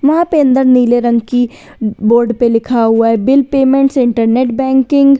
वहां पे अंदर नीले रंग की बोर्ड पर लिखा हुआ है बिल पेमेंट्स इंटरनेट बैंकिंग --